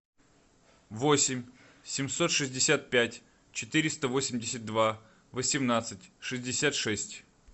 восемь семьсот шестьдесят пять четыреста восемьдесят два восемнадцать шестьдесят шесть